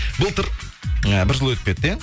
былтыр ы бір жыл өтіп кетті иә